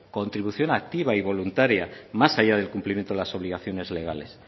contribución activa y voluntaria más allá del cumplimiento de las obligaciones legales